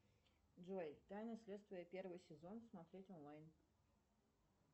джой тайны следствия первый сезон смотреть онлайн